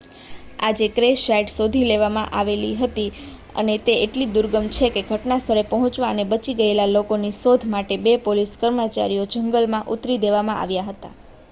આજે crash site શોધી લેવામાં આવેલી હતી અને તે એટલી દુર્ગમ છેકે ઘટનાસ્થળે પહોંચવા અને બચી ગયેલા લોકોની શોધ માટે બે પોલીસ કર્મચારીઓને જંગલમાં ઉતારી દેવામાં આવ્યા હતા